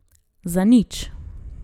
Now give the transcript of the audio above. Za nič!